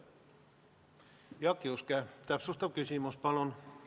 Jaak Juske, täpsustav küsimus, palun!